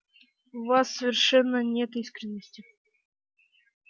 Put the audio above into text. в вас совершенно нет искренности